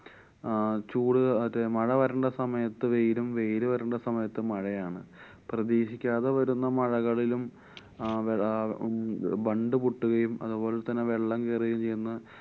അഹ് ചൂട് അത് മഴ വരണ്ട സമയത്ത് വെയിലും, വെയില് വരണ്ട സമയത്ത് മഴയാണ്. പ്രതീക്ഷിക്കാതെ വരുന്ന മഴകളിലും അഹ് വ~ അഹ് മം~ ബണ്ട് പൊട്ടുകയും അതുപോലെതന്നെ വെള്ളം കേറുകയും ചെയ്യുന്ന